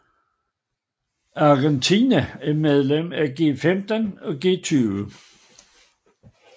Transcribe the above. Argentina er medlem af G15 og G20